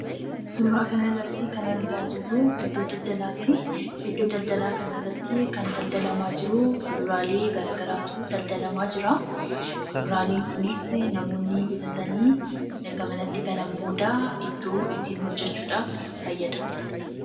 Suuraa kanarratti kan argaa jirru, iddoo daldalaati. Iddoo daldalaa kanarratti kan daldalamaa jiru, kuduraalee garagaraatu daldalamaa jira. Kuduraaleen kunuunsi namoonni bitatanii erga manatti galan booda ittoo ittin hojjachuudhaaf fayyadamu.